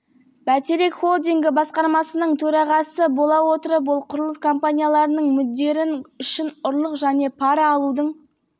тұтастай қылмыстық сұлбасын құрды сонымен қатар ол осы іске көптеген қызметкерлерді тартты оған млрд теңге